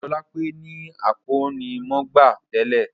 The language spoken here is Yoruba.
Ojúolápé ni akọ́nimọ̀gbá tẹ́lẹ́